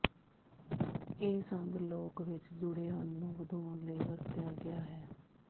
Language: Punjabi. ਇਹ ਸੰਦ ਲੋਕ ਵਿਚ ਜੁੜੇਹਨ ਨੂੰ ਵਧਾਉਣ ਲਈ ਵਰਤਿਆ ਗਿਆ ਹੈ